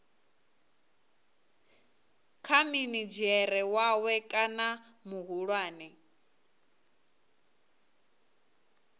kha minidzhere wawe kana muhulwane